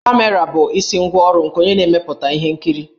Kamera bụ isi ngwá ọrụ nke onye na-emepụta ihe nkiri.